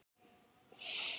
spurði Lóa-Lóa ömmu.